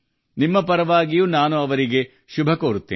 ನಿಮ್ಮ ಪರವಾಗಿ ನಾನು ಅವರನ್ನು ಪ್ರೋತ್ಸಾಹಿಸುತ್ತೇನೆ